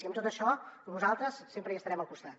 i en tot això nosaltres sempre hi estarem al costat